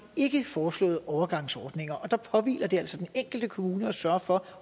ikke foreslået overgangsordninger og der påhviler det altså den enkelte kommune at sørge for